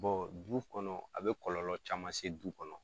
Bɔn du kɔnɔ a be kɔlɔlɔ caman se du kɔnɔ